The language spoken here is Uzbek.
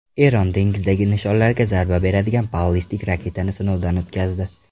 Eron dengizdagi nishonlarga zarba beradigan ballistik raketani sinovdan o‘tkazdi.